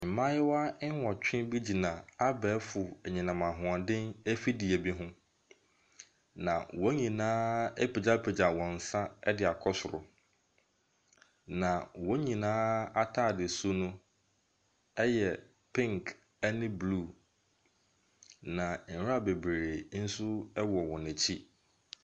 Mmaayewa nnwɔtwe bi gyina abɛɛfo anyinam ahoɔden afidie bi ho, na wɔn nyinaa apagyapagya wɔn nsa kɔ soro, na wɔn nyinaa atadesu no yɛ pink ne blue, na nwura bebree nso wɔ wɔn akyi.